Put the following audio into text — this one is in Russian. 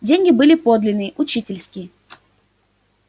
деньги были подлинные учительские